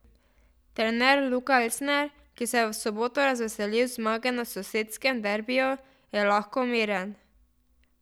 Trener Luka Elsner, ki se je v soboto razveselil zmage na sosedskem derbIju, je lahko miren.